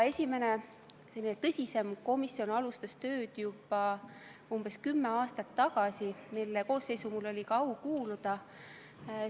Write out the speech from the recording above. Esimene tõsisem komisjon alustas tööd juba umbes kümme aastat tagasi, mille koosseisu ka minul oli au kuuluda.